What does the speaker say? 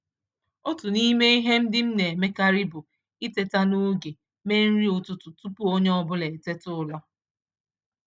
Otú n'ime ihe ndị m m na emekarị bụ iteta n'oge mee nri ụtụtụ tupu onye ọbula eteta ụra